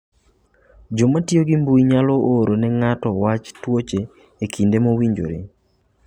Joma tiyo gi mbui nyalo oro ne ng'ato wach tuoche e kinde mowinjore.